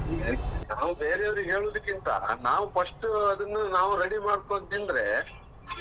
ನಾವು ಬೇರೆಯವರಿಗೆ ಹೇಳುದಕ್ಕಿಂತ, ನಾವು first ಅದನ್ನ ನಾವು ready ಮಾಡ್ಕೊಂಡು ತಿಂದ್ರೆ